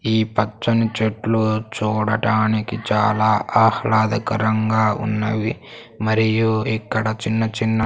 ఈ పచ్చని చెట్లు చూడటానికి చాలా ఆహ్లాదకరంగా ఉన్నవి మరియు ఇక్కడ చిన్న చిన్న.